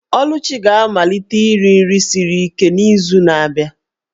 Oluchi ga-amalite iri nri siri ike n'izu na-abịa.